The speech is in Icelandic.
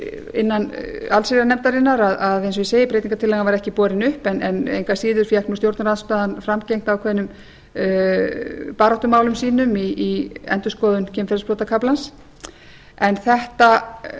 allsherjarnefndarinnar eins og ég segi að breytingartillagan var ekki borin upp en engu að síður fékk stjórnarandstaðan framgengt ákveðnum baráttumálum sínum í endurskoðun kynferðisbrotakafla en þetta